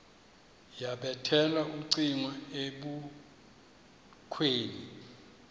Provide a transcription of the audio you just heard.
yabethela ucingo ebukhweni